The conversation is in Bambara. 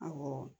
Awɔ